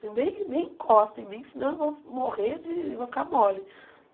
Nem nem encosta em mim, senão eu vou morrer de... vou ficar mole.